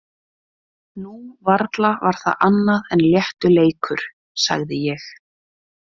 Nú, varla var það annað en léttur leikur, sagði ég.